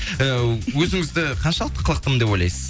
ыыы өзіңізді қаншалықты қылықтымын деп ойлайсыз